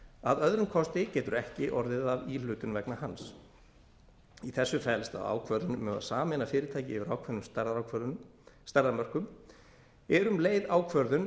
að öðrum kosti getur ekki orðið af íhlutun vegna hans í þessu felst að ákvörðun um að sameina fyrirtæki yfir ákveðnum stærðarmörkum er um leið ákvörðun